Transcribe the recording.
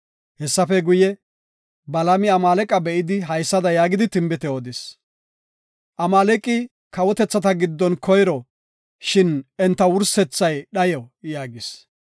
Hessafe guye, Balaami Amaaleqa be7idi haysada yaagidi tinbite odis; “Amaaleqi kawotethata giddon koyro, shin enta wursethay dhayo” yaagis.